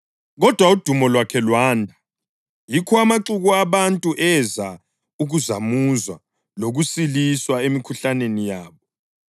Kodwa udumo lwakhe lwanda ngamandla, yikho amaxuku abantu eza ukuzamuzwa lokusiliswa emikhuhlaneni yabo.